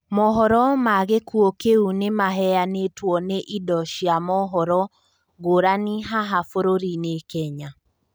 Mũhoro ma gĩkuo kĩu nĩmaheyanitwo ni ĩndo cia mũhoro ngũrani haha burũrini Kenya